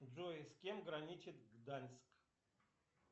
джой с кем граничит гданьск